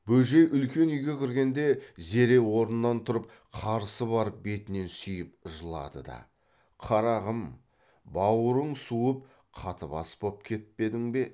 бөжей үлкен үйге кіргенде зере орнынан тұрып қарсы барып бетінен сүйіп жылады да қарағым бауырың суып қатыбас боп кетпедің бе